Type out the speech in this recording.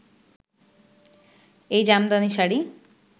এই জামদানি শাড়ি